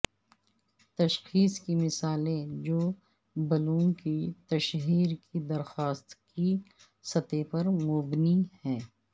تشخیص کی مثالیں جو بلوم کی تشہیر کی درخواست کی سطح پر مبنی ہیں